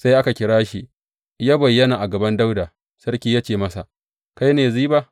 Sai aka kira shi yă bayyana a gaban Dawuda, sarki ya ce masa, Kai ne Ziba?